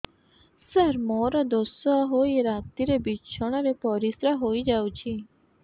ସାର ମୋର ଦୋଷ ହୋଇ ରାତିରେ ବିଛଣାରେ ପରିସ୍ରା ହୋଇ ଯାଉଛି